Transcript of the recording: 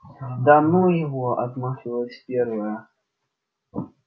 да ну его отмахивалась первая